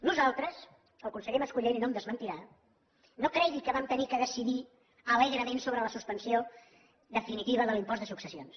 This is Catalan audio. nosaltres el conseller mascolell no em desmentirà no cregui que vam haver de decidir alegrement sobre la suspensió definitiva de l’impost de successions